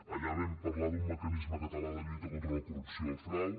allà vam parlar d’un mecanisme català de lluita contra la corrupció i el frau